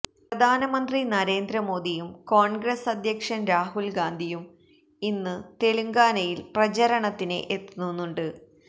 പ്രധാനമന്ത്രി നരേന്ദ്ര മോദിയും കോണ്ഗ്രസ് അധ്യക്ഷന് രാഹുല് ഗാന്ധിയും ഇന്ന് തെലങ്കാനയില് പ്രചരണത്തിന് എത്തുന്നുണ്ട്